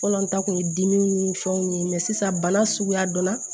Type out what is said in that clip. Fɔlɔ an ta kun ye dimiw ni fɛnw ye sisan bana suguya donna